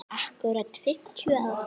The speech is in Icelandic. Akkúrat fimmtíu ár.